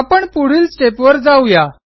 आपण पुढील स्टेप वर जाऊ या